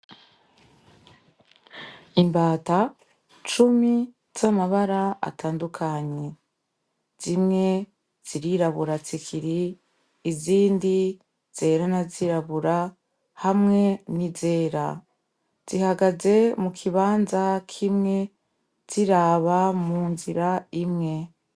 Imbata cumi z'amabara atandukanye zimwe zirirabura tsikiri izindi zerana zirabura hamwe nizera zihagaze mu kibanza kimwe ziraba mu munzira imwe.